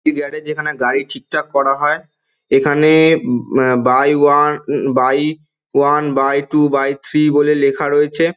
Yard - এর যেখানে গাড়ি ঠিকঠাক করা হয় এখানে um by one hmm by one by two by three বলে লেখা রয়েছে।